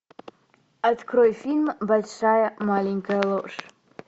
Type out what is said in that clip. открой фильм большая маленькая ложь